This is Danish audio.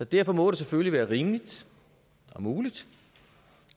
derfor må det selvfølgelig være rimeligt og muligt